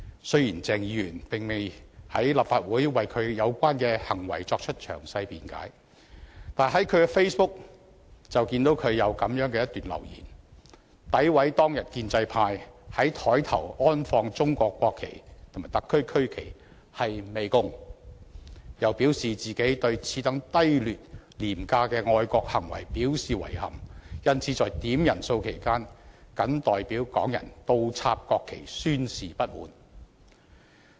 雖然鄭議員並未在立法會為他的有關行為作出詳細辯解，但他在 Facebook 有一段留言，詆毀當天建制派在桌上安放中國國旗和特區區旗是"媚共"，又表示自己"對此等低劣、廉價的愛國行為表示遺憾，因此在點人數期間，謹代表港人倒插區旗宣示不滿"。